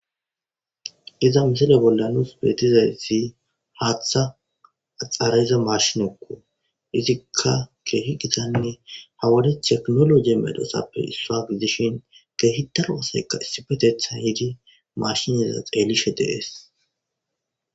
Iza misile bolla betizays haaththe axara'iza mashinnekko izikka kehi gittane ha wode tekinoloji medhotappe issuwa gidishin kehi daro asikka issippetethan mashineza xelishe de'etes.